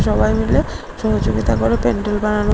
সবাই মিলে সহযোগিতা করে প্যান্ডেল বানানো--